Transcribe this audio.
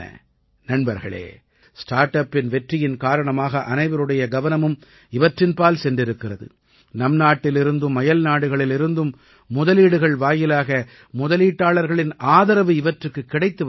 நண்பர்களே ஸ்டார்ட் அப்பின் வெற்றியின் காரணமாக அனைவருடைய கவனமும் இவற்றின்பால் சென்றிருக்கிறது நம் நாட்டிலிருந்தும் அயல்நாடுகளில் இருந்தும் முதலீடுகள் வாயிலாக முதலீட்டாளர்களின் ஆதரவு இவற்றுக்குக் கிடைத்து வருகிறது